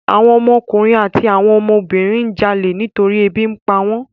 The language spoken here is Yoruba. Àwọn ọmọ ọkùnrin àti àwọn ọmọ obìnrin ń jalè nítorí ebi ń pawọ́n.